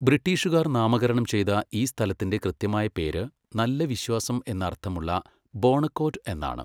ബ്രിട്ടീഷുകാർ നാമകരണം ചെയ്ത ഈ സ്ഥലത്തിന്റെ കൃത്യമായ പേര് നല്ല വിശ്വാസം എന്ന് അർത്ഥമുള്ള ബോണക്കോർഡ് എന്നാണ്,